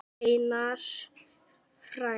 Einar frændi.